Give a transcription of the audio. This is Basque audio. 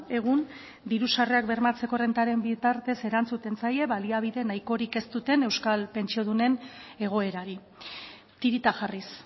egun diru sarrerak bermatzeko errentaren bitartez erantzuten zaie baliabide nahikorik ez duten euskal pentsiodunen egoerari tirita jarriz